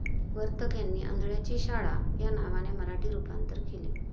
वर्तक यांनी अंधळ्यांची शाळा या नावाने मराठी रुपांतर केले.